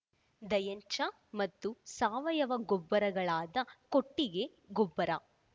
ದಯಂಚ ಮತ್ತು ಸಾವಯವ ಗೋಬ್ಬರಗಳಾದ ಕೊಟ್ಟಿಗೆ ಗೊಬ್ಬರ